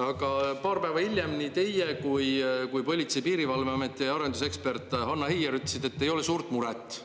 Aga paar päeva hiljem nii teie kui kui Politsei- ja Piirivalveameti arendusekspert Hanna Heier ütlesid, et ei ole suurt muret,